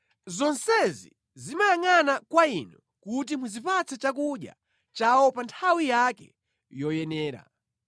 Zonsezi zimayangʼana kwa Inu kuti muzipatse chakudya chawo pa nthawi yake yoyenera.